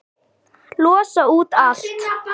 Losa út allt.